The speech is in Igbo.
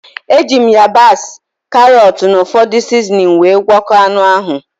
E ji m yabasị, karọt, na ụfọdụ sizinin wee gwoko anụ ahụ